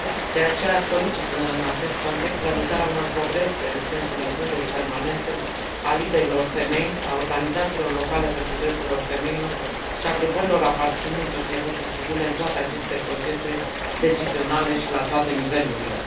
De aceea, solicit, în acest context, realizarea unor progrese în sensul includerii permanente a liderilor femei, a organizațiilor locale pentru drepturile femeilor și a grupărilor aparținând societății civile în toate aceste procese decizionale și la toate nivelurile.